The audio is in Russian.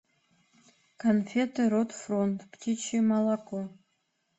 конфеты рот фронт птичье молоко